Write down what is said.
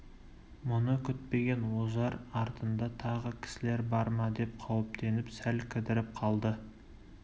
мұны күтпеген ожар артында тағы кісілер бар ма деп қауіптеніп сәл кідіріп қалды